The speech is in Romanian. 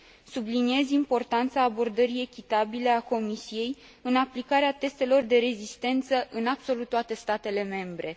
Subliniez importanța abordării echitabile a Comisiei în aplicarea testelor de rezistență în absolut toate statele membre.